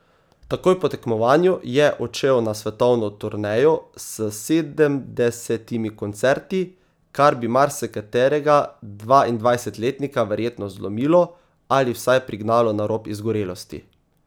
Takoj po tekmovanju je odšel na svetovno turnejo s sedemdesetimi koncerti, kar bi marsikaterega dvaindvajsetletnika verjetno zlomilo ali vsaj prignalo na rob izgorelosti.